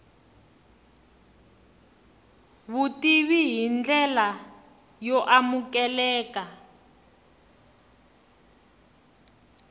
vutivi hi ndlela yo amukeleka